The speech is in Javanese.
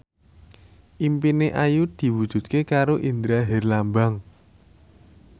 impine Ayu diwujudke karo Indra Herlambang